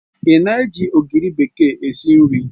Ị na-eji ogiri bekee esi nri?